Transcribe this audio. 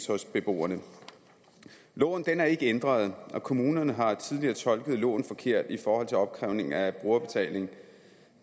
hos beboerne loven er ikke ændret og kommunerne har tidligere tolket loven forkert i forhold til opkrævning af brugerbetaling